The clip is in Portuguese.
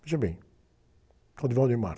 Veja bem.